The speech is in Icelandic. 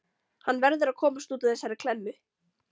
Hann verður að komast út úr þessari klemmu.